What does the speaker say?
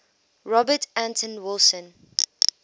robert anton wilson